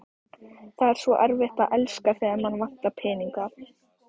Það er svo erfitt að elska, þegar mann vantar peninga